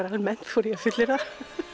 almennt þori ég að fullyrða